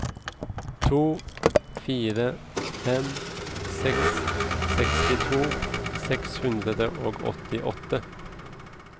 to fire fem seks sekstito seks hundre og åttiåtte